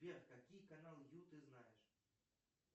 сбер какие каналы ю ты знаешь